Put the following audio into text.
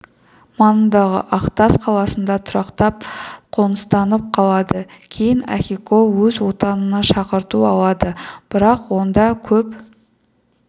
маңындағы ақтас қаласында тұрақтап қоныстанып қалады кейін ахико өз отанына шақырту алады бірақ онда көп